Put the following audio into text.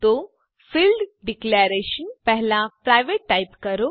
તો field declaration પહેલા private type કરો